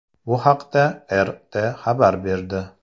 Bu haqda RT xabar berdi .